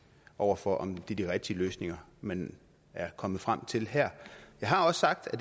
over for om det er de rigtige løsninger man er kommet frem til her jeg har også sagt at